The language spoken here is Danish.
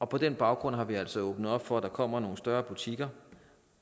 på den baggrund har vi altså åbnet op for at der kommer nogle større butikker